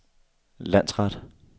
landsret